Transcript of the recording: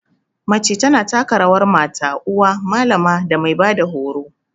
Mace ta na taka rawar mata, uwa, malama da mai ba da horo.